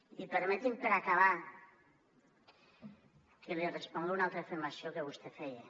i permeti’m per acabar que li respongui a una altra afirmació que vostè feia